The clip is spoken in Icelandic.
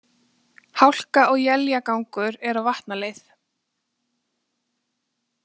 Hálka og éljagangur er á Vatnaleið